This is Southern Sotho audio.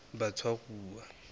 batshwaruwa